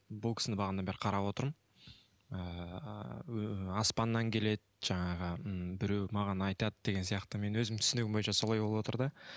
бұл кісіні бағанадан бері қарап отырмын ыыы аспаннан келеді жаңағы м біреу маған айтады деген сияқты мен өзім түсінігім бойынша солай болып отыр да